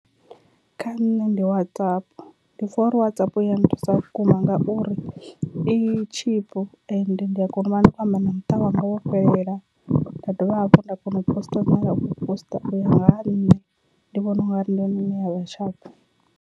Kha nṋe ndi WhatsApp, ndi pfha uri WhatsApp i ya nthusa vhukuma ngauri i tshipu ende ndi a kona u vha ndi khou amba na muṱa wanga wo fhelela, nda dovha hafhu nda kona u poster poster u ya nga ha nṋe ndi vhona ungari ndi yone ine ya vha shapu.